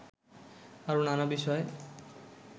আরও নানা বিষয়